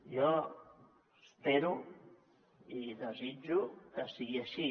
jo espero i desitjo que sigui així